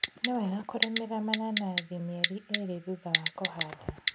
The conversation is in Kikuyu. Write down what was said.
Nĩwega kũrĩmĩra mananathi mĩeri ĩrĩ thutha wa kũhanda.